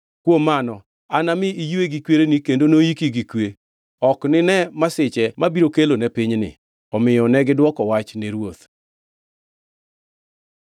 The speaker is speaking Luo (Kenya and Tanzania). Kuom mano, anami iywe gi kwereni kendo noiki gi kwe. Ok inine masiche mabiro kelone pinyni.’ ” Omiyo negidwoko wach ne ruoth.